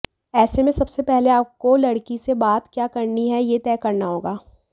ऐसे में सबसे पहले आपको लड़की से बात क्या करनी है ये तय करना होगा